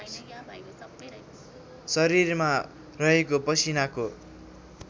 शरीरमा रहेको पसिनाको